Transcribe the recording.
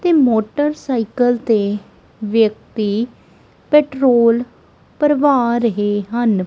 ਤੇ ਮੋਟਰਸਾਈਕਲ ਤੇ ਵਿਅਕਤੀ ਪੈਟ੍ਰੋਲ ਭਰਵਾ ਰਹੇ ਹਨ।